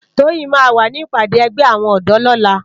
Toyin má wá ni ipàdé ègbè áwòn òdò lòlá